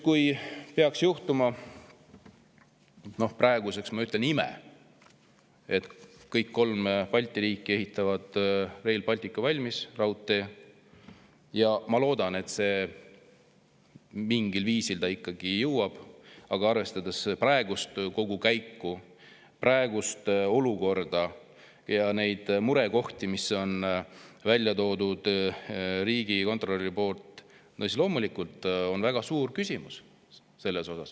Kui peaks juhtuma – no praegu ma ütlen nii – ime, et kõik kolm Balti riiki ehitavad Rail Balticu valmis, ma loodan, et seda mingil viisil ikkagi jõutakse teha, siis arvestades praegust olukorda ja neid murekohti, mis riigikontrolör on välja toonud, on siin loomulikult väga suuri küsimusi.